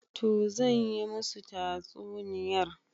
Toh zan yi musu tatsuniyar.